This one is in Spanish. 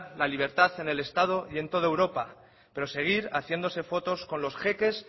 la libertad en el estado y en toda europa pero seguir haciéndose fotos con los jeques